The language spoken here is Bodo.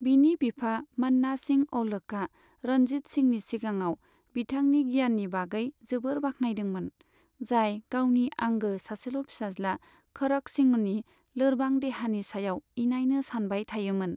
बिनि बिफा, मन्ना सिंह औलखआ रंजीत सिंहनि सिगाङाव बिथांनि गियाननि बागै जोबोर बाख्नायदोंमोन, जाय गावनि आंगो सासेल' फिसाज्ला खरक सिंहनि लोरबां देहानि सायाव इनायनो सानबाय थायोमोन।